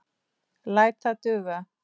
Læt það duga.